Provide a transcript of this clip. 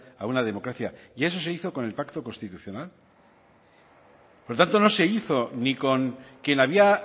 a una democracia y eso se hizo con el pacto constitucional por lo tanto no se hizo ni con quien había